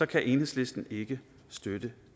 kan enhedslisten ikke støtte